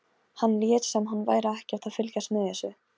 Hann lét sem hann væri ekkert að fylgjast með þessu.